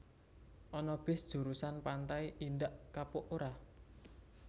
Ana bis jurusan Pantai Indak Kapuk ora?